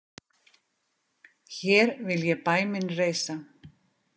Hér vil ég bæ minn reisa.